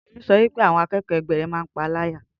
Tolú sọ wípé àwọn àkẹ́kọ̀ọ́ ẹgbẹ́ rẹ máa ń paá láyà